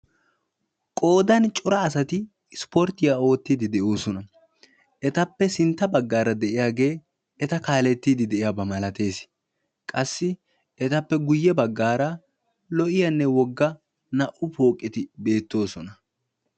Qoodan cora asati ispporttiya oottiiddi de"oosona. Etappe sintta baggaara diyagee eta kaalettiiddi diyaba malates. Qassi etappe guyye baggaara lo"iyanne wogga naa"u pooqeti beettoosona.